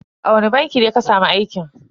A wani banki ne ka samu aikin?